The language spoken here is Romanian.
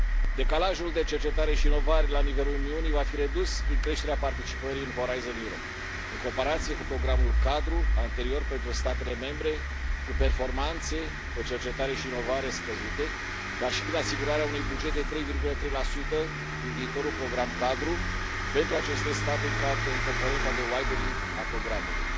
Decalajul de cercetare și inovare la nivelul Uniunii va fi redus prin creșterea participării în Horizon Europe în comparație cu programul cadru anterior pentru statele membre cu performanțe pe cercetare și inovare scăzute, dar și prin asigurarea unui buget de 3,3 din viitorul program cadru pentru aceste state în componenta de widening a programului.